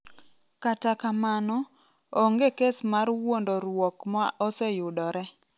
Kata kamano, onge kes mar wuondoruok ma oseyudore.